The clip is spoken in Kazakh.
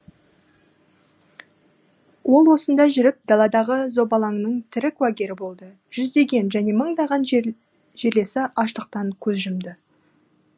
ол осында жүріп даладағы зобалаңның тірі куәгері болды жүздеген және мыңдаған жерлесі аштықтан көз жұмды